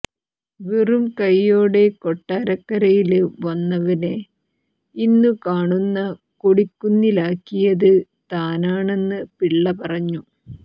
വെറുംകയ്യോടെ കൊട്ടാരക്കരയില് വന്നവനെ ഇന്നു കാണുന്ന കൊടിക്കുന്നിലാക്കിയത് താനാണന്ന് പിള്ള പറഞ്ഞു